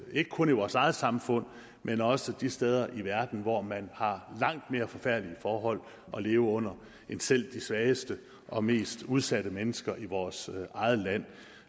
ikke kun i vores eget samfund men også de steder i verden hvor man har langt mere forfærdelige forhold at leve under end selv de svageste og mest udsatte mennesker i vores eget land